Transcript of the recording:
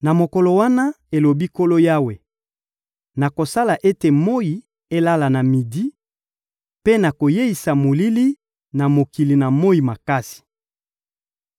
Na mokolo wana,» elobi Nkolo Yawe, «nakosala ete moyi elala na midi, mpe nakoyeisa molili na mokili na moyi makasi.